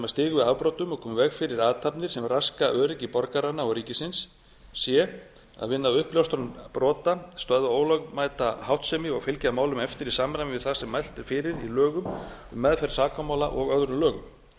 stigu við afbrotum og koma í veg fyrir athafnir sem raska öryggi borgaranna og ríkisins c að vinna að uppljóstran brota stöðva ólögmæta háttsemi og fylgja málum eftir í samræmi við það sem mælt er fyrir um í lögum um meðferð sakamála og öðrum lögum d